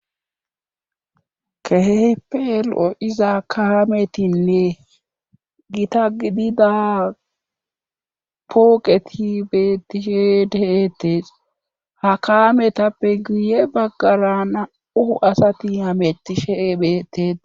kehippe lo7iza kaametinne gita gidida pooqeti betishe deetes ha kaametappe guye baggara na7u asati hametishe bete.